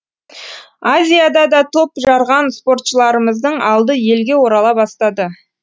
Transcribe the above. азиядада топ жарған спортшыларымыздың алды елге орала бастады